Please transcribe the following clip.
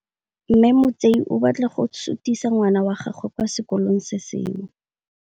Mme Motsei o batla go sutisa ngwana wa gagwe kwa sekolong se sengwe.